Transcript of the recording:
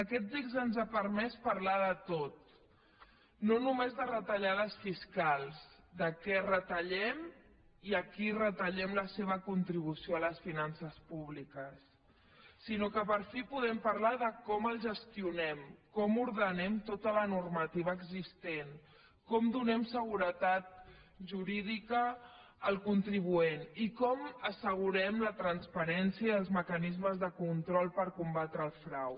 aquest text ens ha permès parlar de tot no només de retallades fiscals de què retallem i a qui retallem la seva contribució a les finances públiques sinó que per fi podem parlar de com ho gestionem com ordenem tota la normativa existent com donem seguretat jurídica al contribuent i com assegurem la transparència i els mecanismes de control per combatre el frau